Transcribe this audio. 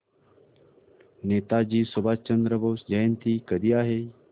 नेताजी सुभाषचंद्र बोस जयंती कधी आहे